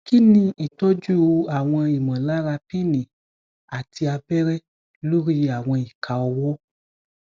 kini itọju awọn imolara pinni ati abere lori awọn ika ọwọ